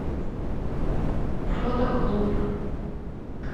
фотоклуб